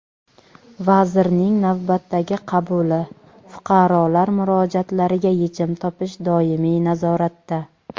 Vazirning navbatdagi qabuli: fuqarolar murojaatlariga yechim topish doimiy nazoratda.